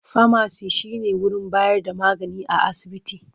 Famaci shi ne wurin bayar da magani a asibiti.